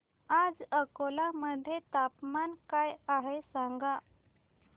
आज अकोला मध्ये तापमान काय आहे सांगा